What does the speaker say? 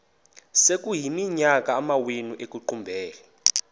sekuyiminyaka amawenu ekuqumbele